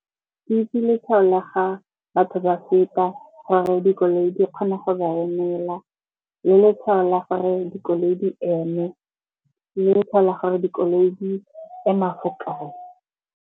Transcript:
Ke itse letshwao la ga batho ba feta gore dikoloi di kgone go ba emela. Le letshwao la gore dikoloi di eme, le letshwao la gore dikoloi di tsamaya fo kae.